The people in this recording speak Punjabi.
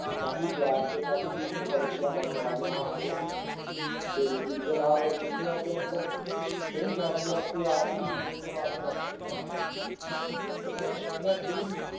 ਕਾਫ਼ੀ ਪਲਾਟ ਤੇ ਕਾਫ਼ੀ ਸੁਸਾਇਟੀਆਂ ਬਣਨ ਵਾਲਿਆਂ ਹੋਰ ਤੇ ਜਿਸਦੇ ਨਾਲ ਜਿਸਦੇ ਮਤਲਬ ਕਈ ਫੈਮਲੀਆਂ ਇੱਥੇ ਆ ਕੇ ਹੀ ਦੂਰੋਂ ਦੂਰੋਂ ਆ ਕੇ ਵਸ ਰਹੀਆਂ ਹਨ ਤੇ ਮੈਂ ਦੇਖਣਾ ਚਾਹੁੰਨਾ ਇੱਥੇ ਦੀ